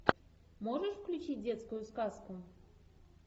можешь включить детскую сказку